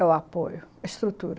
É o apoio, a estrutura.